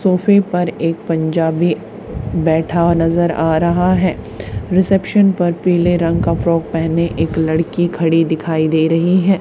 सोफे पर एक पंजाबी बैठा हुआ नजर आ रहा है रिसेप्शन पर पीले रंग का फ्रॉक पहने एक लड़की खड़ी दिखाई दे रही है।